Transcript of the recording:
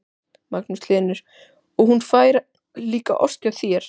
Magnús Hlynur: Og hún fær líka ost hjá þér?